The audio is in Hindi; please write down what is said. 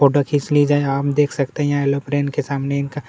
फोटो खींच ली जाए आप देख सकते है एरोप्लेन के सामने इनका --